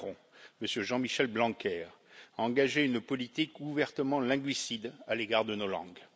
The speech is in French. Macron, M. Jean Michel Blanquer, a engagé une politique ouvertement linguicide à l'égard de nos langues.